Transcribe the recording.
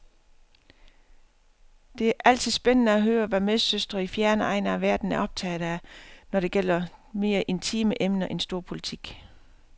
Det er altid spændende at høre, hvad medsøstre i fjerne egne af verden er optaget af, når det gælder mere intime emner end storpolitik.